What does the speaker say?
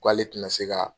K'ale tɛna se ka